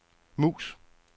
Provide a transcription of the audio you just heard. mus